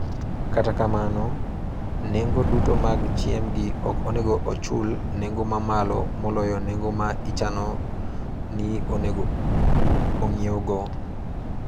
Kata kamano, nengo duto mag chiembgi ok onego ochul nengo mamalo maloyo nengo ma ichano ni onego ong'iewgo.